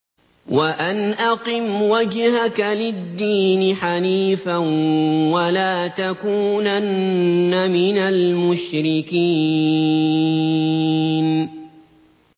وَأَنْ أَقِمْ وَجْهَكَ لِلدِّينِ حَنِيفًا وَلَا تَكُونَنَّ مِنَ الْمُشْرِكِينَ